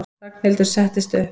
Ragnhildur settist upp.